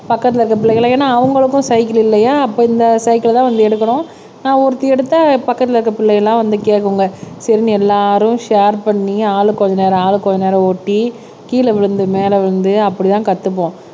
பக்கத்துல இருக்க பிள்ளைகள ஏன்னா அவங்களுக்கும் சைக்கிள் இல்லையா அப்ப இந்த சைக்கிள் தான் வந்து எடுக்கறோம் நான் ஒருத்தி எடுத்த பக்கத்துல இருக்க பிள்ளைகள் எல்லாம் வந்து கேட்குங்க சரின்னு எல்லாரும் ஷேர் பண்ணி ஆளுக்கு கொஞ்ச நேரம் ஆளுக்கு கொஞ்ச நேரம் ஓட்டி கீழே விழுந்து மேல விழுந்து அப்படிதான் கத்துப்போம்.